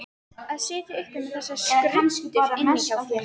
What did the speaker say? Að sitja uppi með þessar skruddur inni hjá sér.